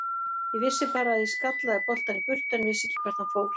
Ég vissi bara að ég skallaði boltann í burtu en vissi ekki hvert hann fór.